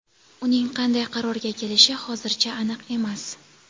Uning qanday qarorga kelishi hozircha aniq emas.